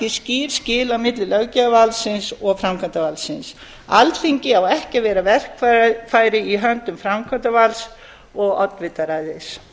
skýr skil á milli löggjafarvaldsins og framkvæmdarvaldsins alþingi á ekki vera verkfæri í höndum framkvæmdarvalds og oddvitaræðis